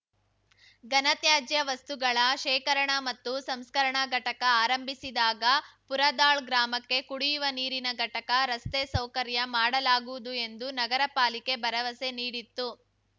ಘನತ್ಯಾಜ್ಯ ವಸ್ತುಗಳ ಶೇಖರಣಾ ಮತ್ತು ಸಂಸ್ಕರಣಾ ಘಟಕ ಆರಂಭಿಸಿದಾಗ ಪುರದಾಳ್‌ ಗ್ರಾಮಕ್ಕೆ ಕುಡಿಯುವ ನೀರಿನ ಘಟಕ ರಸ್ತೆ ಸೌಕರ್ಯ ಮಾಡಲಾಗುವುದು ಎಂದು ನಗರ ಪಾಲಿಕೆ ಭರವಸೆ ನೀಡಿತ್ತು